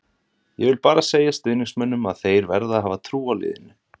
Ég vil bara segja stuðningsmönnunum að þeir verða að hafa trú á liðinu.